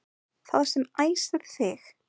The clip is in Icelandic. Það sem æsir þig